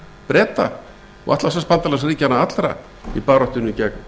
breta og atlantshafsbandalagsríkjanna allra í baráttunni gegn